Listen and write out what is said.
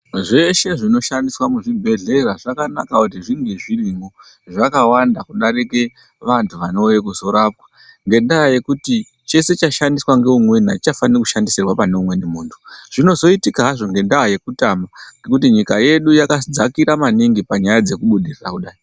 Zveshe zvinoshandiswa muzvibhedhlera zvakanaka kuti zvinge zvirimo zvakawanda kudarika vantu vanouya kuzorapwa ngendaya yekuti chese chashandiswa pane umweni achichafani kushandisirwa pane umweni muntu zvinozoitika hazvo ngendaya yekutama ngekuti nyika yedu yakadzakira maningi panyaya dzekubudirira kudai.